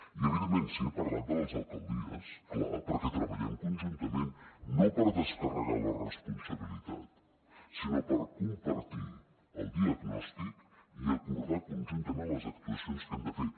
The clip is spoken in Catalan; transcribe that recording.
i evidentment sí he parlat de les alcaldies clar perquè treballem conjuntament no per descarregar la responsabilitat sinó per compartir el diagnòstic i acordar conjuntament les actuacions que hem de fer